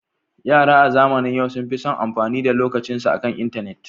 Yara a zamanin yau sun fi son yin amfani da lokacinsu akan intanet.